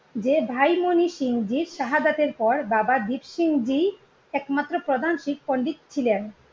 যে ভাই মনিসিং জির শাহাদাতের পর বাবা দীপসিং জি একমাত্র প্রধান শিখ পন্ডিত ছিলেন।